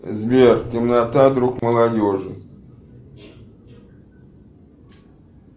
сбер темнота друг молодежи